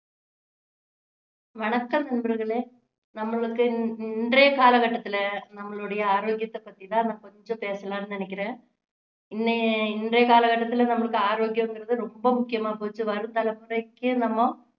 வணக்கம் நண்பர்களே நம்மளுக்கு இன்~ இன்றைய கால கட்டத்துல நம்மளுடைய ஆரோக்கியத்தை பத்தி தான் நான் கொஞ்சம் பேசலாம்னு நினைக்கிறேன் இன்ன~ இன்றைய காலக்கட்டத்துல நம்மளுக்கு ஆரோக்கியங்குறது ரொம்ப முக்கியமா போச்சு வரும் தலைமுறைக்கும் நம்ம